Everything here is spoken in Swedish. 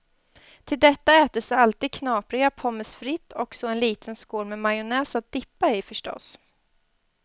Till detta ätes alltid knapriga pommes frites och så en liten skål med majonnäs att dippa i förstås.